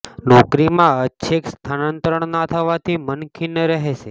નોકરી માં ઐચ્છિક સ્થાનાંતરણ ના થવાથી મન ખિન્ન રહેશે